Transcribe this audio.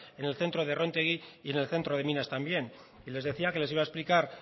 en el centro de rontegi y en el centro de minas también y les decía que les iba a explicar